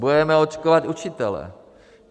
Budeme očkovat učitele.